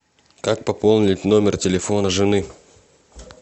как пополнить номер телефона жены